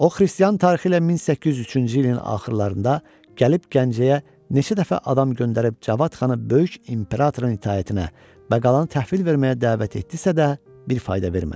O xristian tarixi ilə 1803-cü ilin axırlarında gəlib Gəncəyə neçə dəfə adam göndərib Cavad xanı böyük imperatorun itaətinə və qalanı təhvil verməyə dəvət etdisə də, bir fayda vermədi.